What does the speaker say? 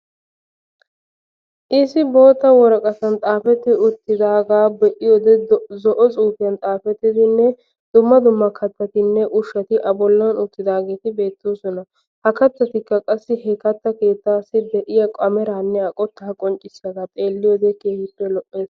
Issi boottaa worqqatan xaafetti uttidagaa be"iyode, zo"o xuufiyiyan xaafettidinne dumma dumma kattattinne ushshaati a bollan uttidaageeti beettoosona. Ha kattattikka qassi he kattaa keettaa asay ameraanne a qottaa qonccissiyagaa xeelliyode keehippe lo'ees.